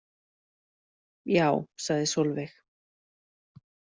Já, sagði Sólveig.